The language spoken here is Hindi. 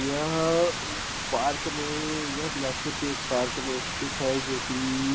यह पार्क में यह बिलासपुर के एक पार्क में स्तिथ है जोकि--